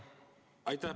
Aitäh!